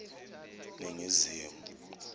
ningizimu